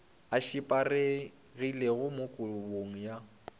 a šaparegilego mo kabong ya